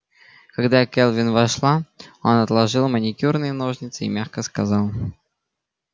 когда кэлвин вошла он отложил маникюрные ножницы и мягко сказал